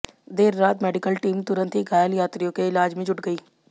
देर रात medical team तुरंत ही घायल यात्रियों के इलाज में जुट गई